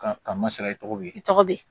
Ka ka masala i tɔgɔ bɛ ye i tɔgɔ bɛ ye